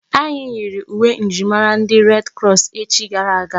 Anyị yiiri uwe njirimara ndi red krọs echi gara aga.